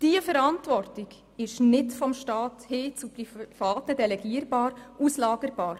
Diese Verantwortung ist nicht vom Staat hin zu Privaten delegierbar und auslagerbar.